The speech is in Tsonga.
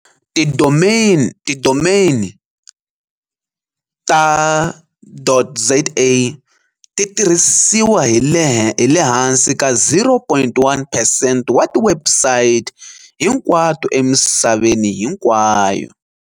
Tidomeni ta.za ti tirhisiwa hi le hansi ka 0.1 percent wa tiwebsite hinkwato emisaveni hinkwayo.